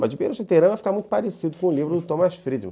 Mas de ia ficar muito parecido com o livro do Thomas Friedman